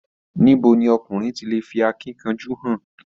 Níbo ní ọkùnrin tí lè fí akínkanjú hàn?